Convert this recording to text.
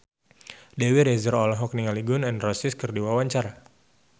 Dewi Rezer olohok ningali Gun N Roses keur diwawancara